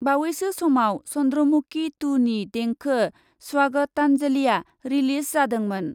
बावैसो समाव चन्द्रमुकि टु नि देंखो स्वागतान्जलिआ रिलिज जादोंमोन।